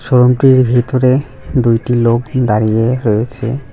শোরুমটির ভিতরে দুইটি লোক দাঁড়িয়ে রয়েছে।